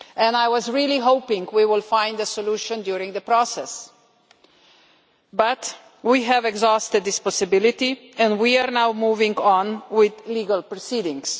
I was really hoping we would find a solution during the process, but we have exhausted this possibility and we are now moving on with legal proceedings.